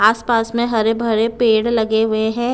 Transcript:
आसपास में हरे भरे पेड़ लगे हुए हैं।